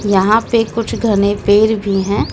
यहां पे कुछ घने पेड़ भी हैं।